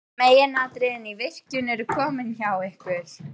Meginatriðin í virkjun eru komin hjá ykkur.